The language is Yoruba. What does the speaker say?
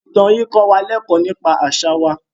Ìtàn yìí kọ́ wa lẹ́kọ̀ọ́ nípa àṣà wa.